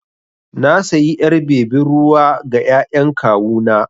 Na sayi ƴar bebin ruwa ga ƴaƴan kawu na.